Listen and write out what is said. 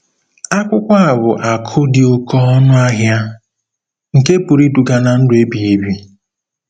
Akwụkwọ a bụ akụ̀ dị oké ọnụ ahịa nke pụrụ iduga ná ndụ ebighị ebi